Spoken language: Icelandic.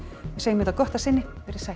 segjum þetta gott að sinni veriði sæl